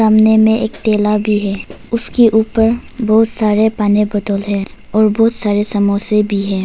सामने में एक ठेला भी है उसके ऊपर बहुत सारे पानी बोतल है और बहुत सारे समोसे भी है।